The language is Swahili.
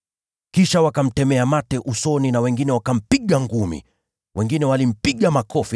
Kisha wakamtemea mate usoni na wengine wakampiga ngumi. Wengine wakampiga makofi